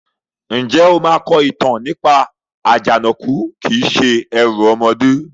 Ǹjẹ́ o máa kọ ìtàn nípa "Àjànàkú kìí se ẹrù ọmọdé"?